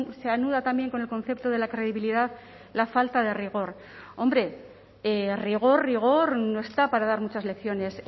se anuda también con el concepto de la credibilidad la falta de rigor hombre rigor rigor no está para dar muchas lecciones